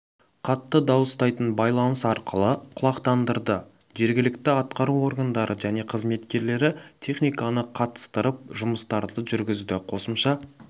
қатты дауыстайтын байланыс арқылы құлақтандырды жергілікті атқару органдары және қызметкерлері техниканы қатыстырып жұмыстарды жүргізді қосымша